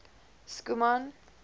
schoeman